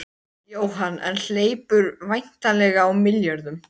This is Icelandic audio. Jóhann: En hleypur væntanlega á milljörðum?